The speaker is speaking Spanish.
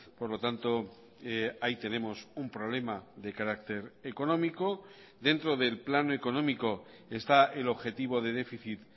por lo tanto ahí tenemos un problema de carácter económico dentro del plano económico está el objetivo de déficit